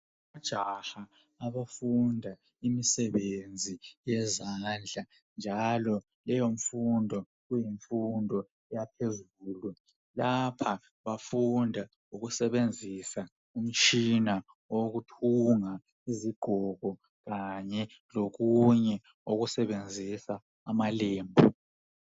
Ojaha abafunda imisebenzi yezandla njalo leyo mfundo kuyimfundo yaphezulu lapha bafunda ukusebenzisa umtshina wokuthunga izigqoko kanye lokunye okusebenzisa amalembu .